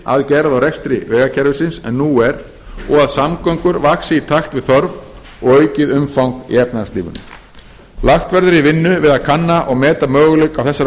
og rekstri vegakerfisins en nú er og að samgöngur vaxi í takt við þörf og aukið umfang í efnahagslífinu lagt verður í vinnu við að kanna og meta möguleika á þessari